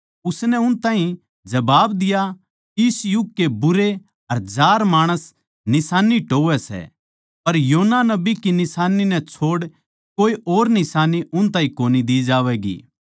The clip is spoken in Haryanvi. उसनै उन ताहीं जबाब दिया इस युग के बुरे अर जार माणस निशान्नी टोह्वैं सै पर योना नबी की निशान्नी नै छोड़ कोए और निशान्नी उन ताहीं कोनी दी जावैगी